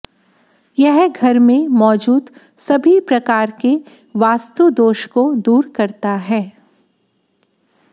यह घर में मौजूद सभी प्रकार के वास्तुदोष को दूर करता है